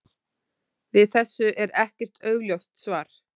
Við þessu er ekkert augljóst svar.